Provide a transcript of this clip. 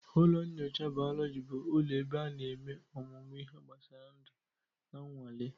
Ụlọ nyocha bayoloji bụ ụlọ ebe a na-eme ọmụmụ ihe gbasara ndu na nnwale.